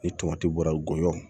Ni tomati bɔra gɔyɔn